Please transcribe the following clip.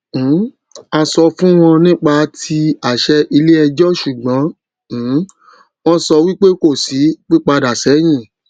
um a sọ fún wọn nípa tí àṣẹ iléẹjọ ṣùgbọn um wọn sọ wípé kò sí pípadà sẹyìn